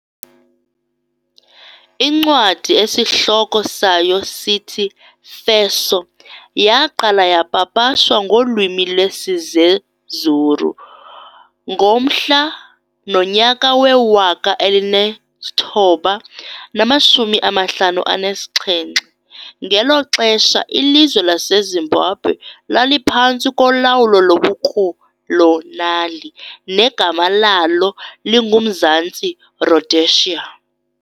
Incwadi esihloko sayo sithi"Feso","yaaqala yapapashwa ngolwimi lwesiZezuru ngomhla nonyaka we-1957, ngelo xesha ilizwe laseZimbabwe laliphantsi kolawulo lobukolonali negama lalo linguMzantsi Rhodesia.